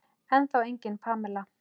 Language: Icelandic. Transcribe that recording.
Ennþá engin Pamela.